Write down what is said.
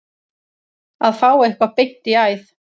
Að fá eitthvað beint í æð